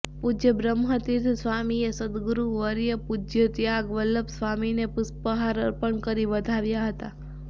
પૂજ્ય બ્રહ્મતીર્થ સ્વામીએ સદગુરુ વર્ય પૂજ્ય ત્યાગવલ્લભ સ્વામીને પુષ્પહાર અર્પણ કરી વધાવ્યા હતા